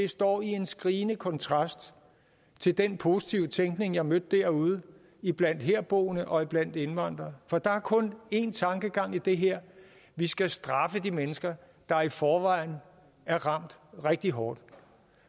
står i en skrigende kontrast til den positive tænkning jeg mødte derude iblandt herboende og iblandt indvandrere for der er kun én tankegang i det her vi skal straffe de mennesker der i forvejen er ramt rigtig hårdt